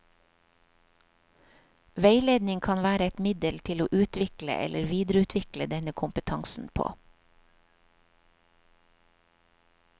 Veiledning kan være et middel til å utvikle eller videreutvikle denne kompetansen på.